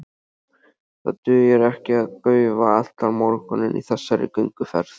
Það dugir ekki að gaufa allan morguninn í þessari gönguferð.